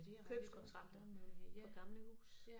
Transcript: Købskontrakter på gamle huse